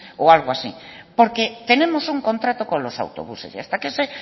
o algo así porque tenemos un contrato con los autobuses y hasta que ese